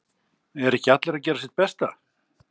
Eru ekki allir að gera sitt besta?